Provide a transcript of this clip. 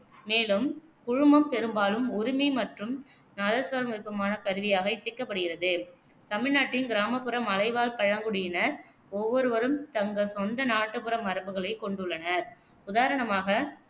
மேலும் குழுமம் பெரும்பாலும் உருமி மற்றும் நாதஸ்வரம் விருப்பமான கருவியாக இசைக்கப்படுகிறது தமிழ்நாட்டின் கிராமப்புற மலைவாழ் பழங்குடியினர் ஒவ்வொருவரும் தங்கள் சொந்த நாட்டுப்புற மரபுகளைக் கொண்டுள்ளனர். உதாரணமாக,